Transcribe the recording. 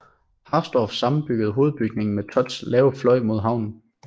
Harsdorff sammenbyggede hovedbygningen med Thotts lave fløj mod haven